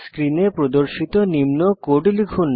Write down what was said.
স্ক্রিনে প্রদর্শিত নিম্ন কোড লিখুন